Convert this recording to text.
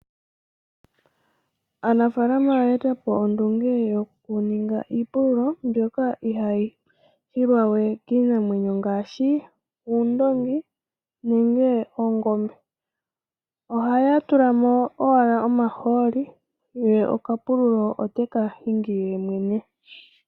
Aanafaalama oya eta po ondunge yoku ninga iipululo mbyoka ihaa yi hilwa we kiinamwenyo ngaashi uundoongi nenge oongombe. Ohaya tula mo owala omahooli ye okapululo teka hili yemwene.